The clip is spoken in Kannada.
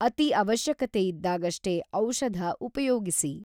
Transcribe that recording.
ಅತಿ ಅವಶ್ಯಕತೆ ಇದ್ದಾಗಷ್ಟೇ ಔಷಧ ಉಪಯೋಗಿಸಿ.